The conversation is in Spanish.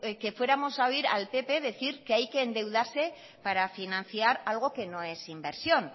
que fuéramos a oír al pp decir que hay que endeudarse para financiar algo que no es inversión